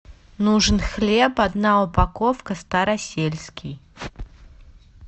нужен хлеб одна упаковка старосельский